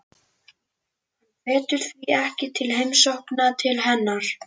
Hann hvetur því ekki til heimsókna til hennar.